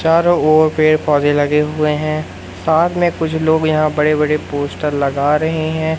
चारों ओर पेड़ पौधे लगे हुए हैं साथ में कुछ लोग यहां बड़े बड़े पोस्टर लगा रहे हैं।